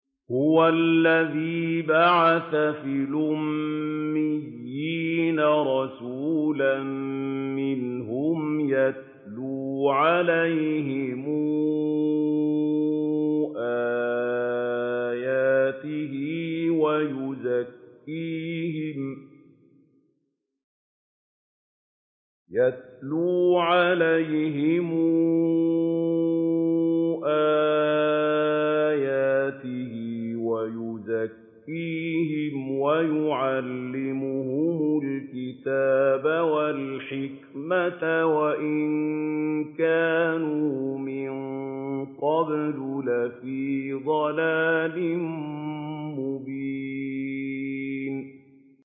هُوَ الَّذِي بَعَثَ فِي الْأُمِّيِّينَ رَسُولًا مِّنْهُمْ يَتْلُو عَلَيْهِمْ آيَاتِهِ وَيُزَكِّيهِمْ وَيُعَلِّمُهُمُ الْكِتَابَ وَالْحِكْمَةَ وَإِن كَانُوا مِن قَبْلُ لَفِي ضَلَالٍ مُّبِينٍ